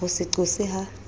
ho se qose ha se